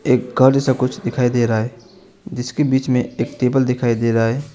एक घर जैसा कुछ दिखाई दे रहा है जिसके बीच में एक टेबल दिखाई दे रहा है।